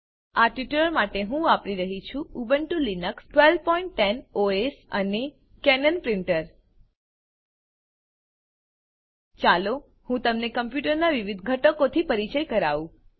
આ ટ્યુટોરીયલ માટે હું વાપરી રહ્યી છું ઉબુન્ટુ લિનક્સ ૧૨૧૦ ઓએસ અને કેનન પ્રીંટર ચાલો હું તમને કમ્પ્યુટરનાં વિવિધ ઘટકોથી પરિચય કરાવું